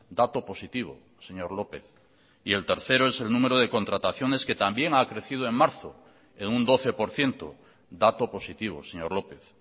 dato positivo señor lópez y el tercero es el número de contrataciones que también ha crecido en marzo en un doce por ciento dato positivo señor lópez